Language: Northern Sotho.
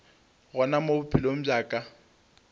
gona mo bophelong bja ka